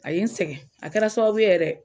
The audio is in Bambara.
A ye n sɛgɛn a kɛra sababu ye yɛrɛ